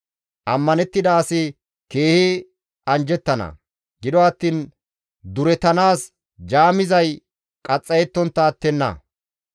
Ammanettida asi keehi anjjettana; gido attiin durettanaas jaamizay qaxxayettontta attenna.